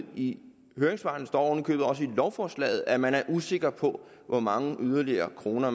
i høringssvarene står oven i købet også i lovforslaget at man er usikker på hvor mange yderligere kroner